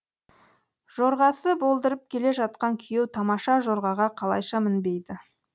жорғасы болдырып келе жатқан күйеу тамаша жорғаға қалайша мінбейді